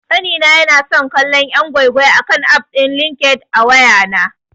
Ƙanina yana son kallon yan' gwai-gwai akan aff din LinkedIn a wayana.